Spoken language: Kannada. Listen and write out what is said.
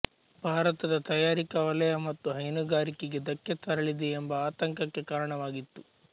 ಭಾರತದ ತಯಾರಿಕಾ ವಲಯ ಮತ್ತು ಹೈನುಗಾರಿಕೆಗೆ ಧಕ್ಕೆ ತರಲಿದೆ ಎಂಬ ಆತಂಕಕ್ಕೆ ಕಾರಣವಾಗಿತ್ತು